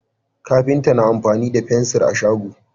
kafinta na amfani da fensir a shago